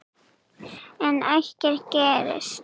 En ekkert gerist.